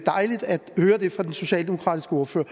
dejligt at høre det fra den socialdemokratiske ordfører